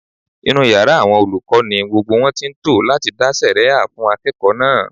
Inú yàrá àwọn olùkọ́ ni gbogbo wọn ti ń tò láti dá sẹ̀rẹ́ha fún akẹ́kọ̀ọ́ náà